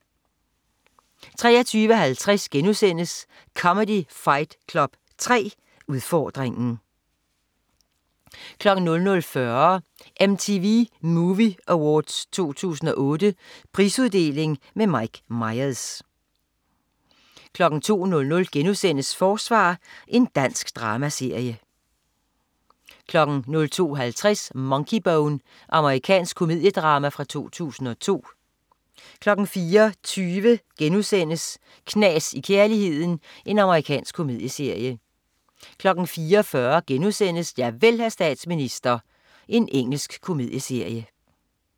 23.50 Comedy Fight Club 3, udfordringen* 00.40 MTV Movie Awards 2008. Prisuddeling med Mike Myers 02.00 Forsvar. Dansk dramaserie* 02.50 Monkeybone. amerikansk komediedrama fra 2002 04.20 Knas i kærligheden.* Amerikansk komedieserie 04.40 Javel, hr. statsminister. Engelsk komedieserie*